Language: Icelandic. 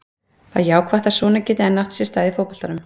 Það er jákvætt að svona geti enn átt sér stað í fótboltanum.